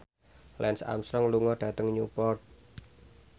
Lance Armstrong lunga dhateng Newport